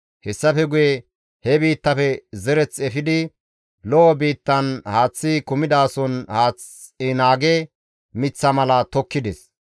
« ‹Hessafe guye he biittafe zereth efidi lo7o biittan haaththi kumidason haath naage miththa mala tokkides.